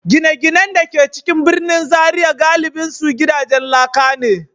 Gine-ginen da ke cikin birnin Zariya galibinsu gidajen laka ne.